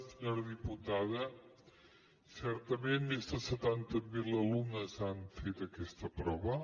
senyora diputada certament més de setanta mil alumnes han fet aquesta prova